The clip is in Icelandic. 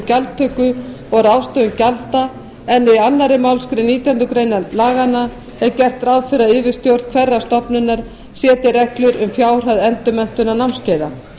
gjaldtöku og ráðstöfun gjalda en í annarri málsgrein nítjánda grein laganna er gert ráð fyrir að yfirstjórn hverrar stofnunar setji reglur um fjárhæð endurmenntunar námskeiða